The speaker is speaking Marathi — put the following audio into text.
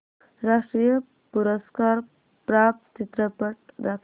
राष्ट्रीय पुरस्कार प्राप्त चित्रपट दाखव